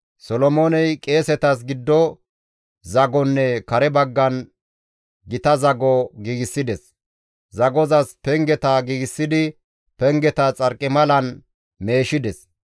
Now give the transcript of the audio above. Solomooney qeesetas giddo zagonne kare baggan gita zago giigsides; zagozas pengeta giigsidi pengeta xarqimalan meeshides.